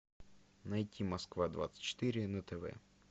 найти москва двадцать четыре на тв